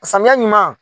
Samiya ɲuman